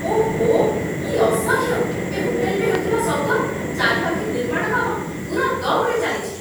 ଓଃ! କି ଅସହ୍ୟ ଏ ହୋଟେଲରେ ହେଉଥିବା ଶବ୍ଦ, ଚାରିପାଖେ ନିର୍ମାଣ କାମ ପୂରା ଦମ୍‌ରେ ଚାଲିଛି।